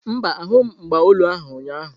Mba, ahụghị m mgba olu ahu ụnyaahụ.